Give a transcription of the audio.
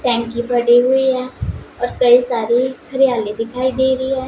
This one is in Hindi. टैंकी पड़ी हुई है और कई सारी हरियाली दिखाई दे रही--